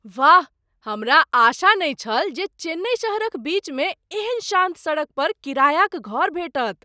वाह! हमरा आशा नहि छल जे चेन्नई शहरक बीचमे एहन शान्त सड़क पर किरायाक घर भेटत।